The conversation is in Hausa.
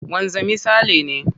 Wanzami Sale ne.